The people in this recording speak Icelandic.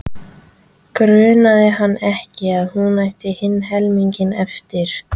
Grunaði hann ekki að hún ætti hinn helminginn eftir?